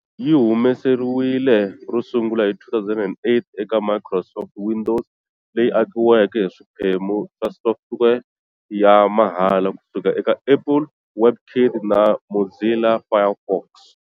Yi humesiwile ro sungula hi 2008 eka Microsoft Windows, leyi akiweke hi swiphemu swa software ya mahala ku suka eka Apple WebKit na Mozilla Firefox.